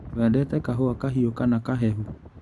Wendete kahũa kahiũ kana kahehu?